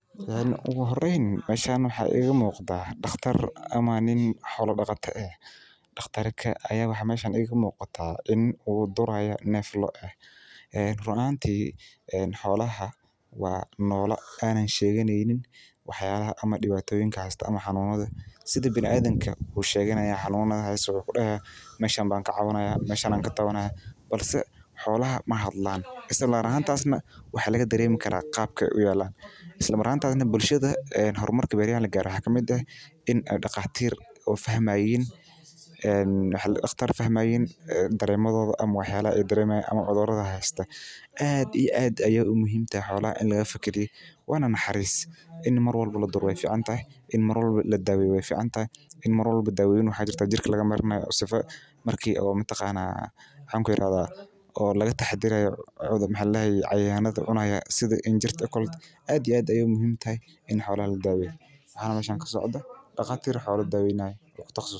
Ugu horeyn meeshan waxaa iiga muuqda daqtar ama nin xola daqata ah xolaha waa noola aan sheyganeynin sida biniadamka mafahmi karaan waxaa sido kale salad waxaa lagu daraa nyanya lajarjaray boosha isku dayo suashan waxaay tahay waziirka disida jidka ayaa lagu darsadaa suugada.